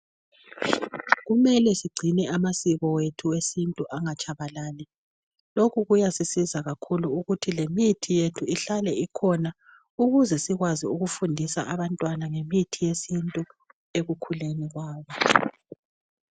Kumele sigcine amasiko ethu esintu angatshabalali. Lokhu kuyasisiza kakhulu lokuthi lemithi yethu ihlale ikhona, Ukuze sikwazi ukufundisa abantwana ngemithi yesintu ekukhuleni kwabo.